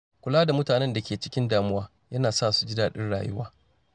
Kula da mutanen da ke cikin damuwa yana sa su ji daɗin rayuwa.